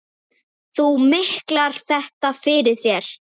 Þú miklar þetta fyrir þér.